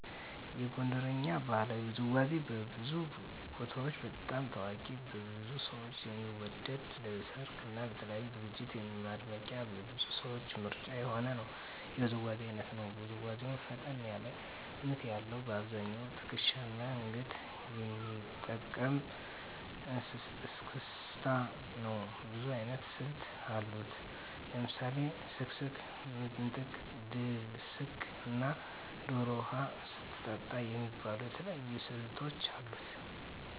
የጎንደርኛ ባህላዊ ውዝዋዜ በብዙ ቦታዎች በጣም ታዋቂ ብዙ ሰው የሚወደው ለሰርግ እና ለተለያዩ ዝግጅቶች ማድመቂያ የብዙ ሰዎች ምርጫ የሆነ የውዝዋዜ አይነት ነው። ውዝዋዜው ፈጠን ያለ ምት ያለዉ : በአብዛኛው ትክሻና አንገትን የሚጠቀም እስክስታ ነው። ብዙ አይነት ስልቶች አሉት። ለምሳሌ ስክስክ፣ ምንጥቅ፣ ድስቅ እና ዶሮ ውሃ ስትጠጣ የሚባሉ የተለያዩ ስልቶች አሉት።